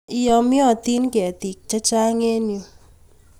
Yamyotin ketik chechang' eng' yu